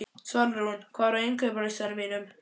Svalrún, hvað er á innkaupalistanum mínum?